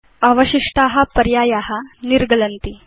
अवशिष्टा पर्याया निर्गलन्ति